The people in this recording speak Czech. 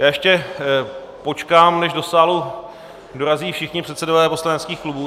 Já ještě počkám, než do sálu dorazí všichni předsedové poslaneckých klubů.